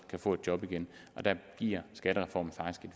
kan få et job igen der giver skattereformen faktisk